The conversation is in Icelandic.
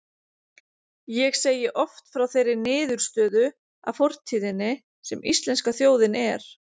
Ég segi oft frá þeirri niðurstöðu af fortíðinni, sem íslenska þjóðin er.